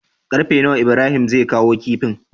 Karfe nawa Ibrahim zai kawo kifin?